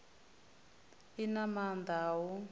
i na maanda a u